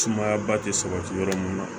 Sumayaba tɛ sabati yɔrɔ mun na